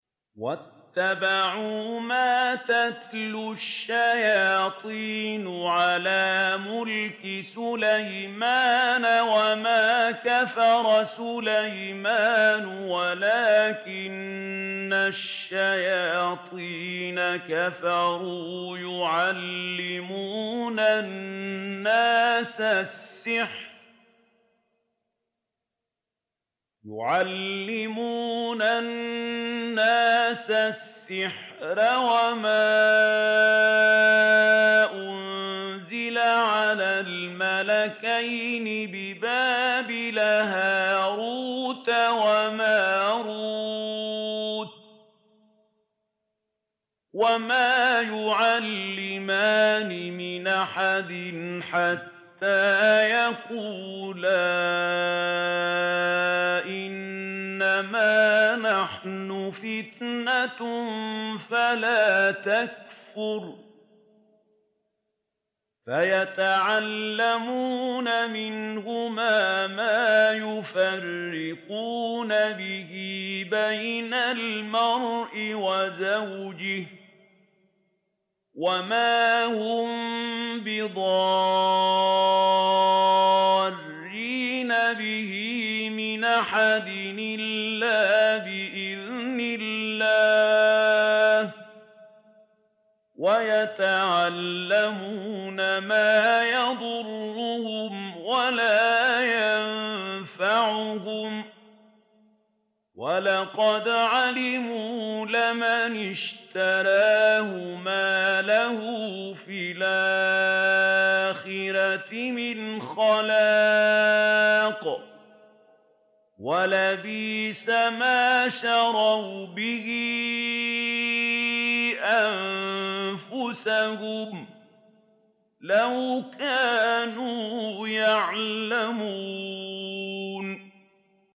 وَاتَّبَعُوا مَا تَتْلُو الشَّيَاطِينُ عَلَىٰ مُلْكِ سُلَيْمَانَ ۖ وَمَا كَفَرَ سُلَيْمَانُ وَلَٰكِنَّ الشَّيَاطِينَ كَفَرُوا يُعَلِّمُونَ النَّاسَ السِّحْرَ وَمَا أُنزِلَ عَلَى الْمَلَكَيْنِ بِبَابِلَ هَارُوتَ وَمَارُوتَ ۚ وَمَا يُعَلِّمَانِ مِنْ أَحَدٍ حَتَّىٰ يَقُولَا إِنَّمَا نَحْنُ فِتْنَةٌ فَلَا تَكْفُرْ ۖ فَيَتَعَلَّمُونَ مِنْهُمَا مَا يُفَرِّقُونَ بِهِ بَيْنَ الْمَرْءِ وَزَوْجِهِ ۚ وَمَا هُم بِضَارِّينَ بِهِ مِنْ أَحَدٍ إِلَّا بِإِذْنِ اللَّهِ ۚ وَيَتَعَلَّمُونَ مَا يَضُرُّهُمْ وَلَا يَنفَعُهُمْ ۚ وَلَقَدْ عَلِمُوا لَمَنِ اشْتَرَاهُ مَا لَهُ فِي الْآخِرَةِ مِنْ خَلَاقٍ ۚ وَلَبِئْسَ مَا شَرَوْا بِهِ أَنفُسَهُمْ ۚ لَوْ كَانُوا يَعْلَمُونَ